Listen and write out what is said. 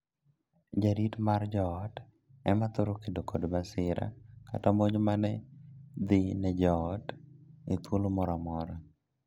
Jarit mar joot ema thoro kedo kod masira kata monj mane dhii ne joot e thuolo moro amora.